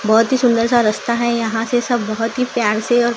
बहोत ही सुंदर सा रस्ता है यहां से सब बहोत ही प्यार से और--